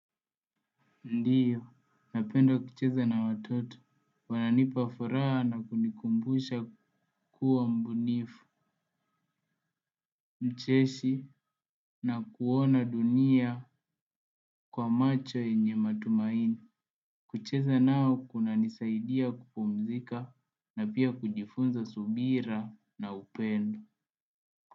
Ndiyo, napenda kucheza na watoto, wananipa furaha na kunikumbusha kuwa mbunifu, mcheshi na kuona dunia kwa macho yenye matumaini. Kucheza nao kunanisaidia kupumzika na pia kujifunza subira na upendo.